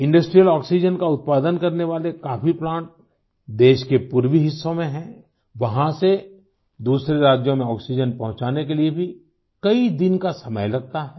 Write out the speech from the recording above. industrial oxygen का उत्पादन करने वाले काफी प्लांट देश के पूर्वी हिस्सों में हैं वहाँ से दूसरे राज्यों में आक्सीजेन पहुँचाने के लिए भी कई दिन का समय लगता है